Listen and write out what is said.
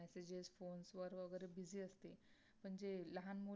म्हणजे लहान पाने